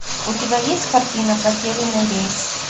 у тебя есть картина потерянный рейс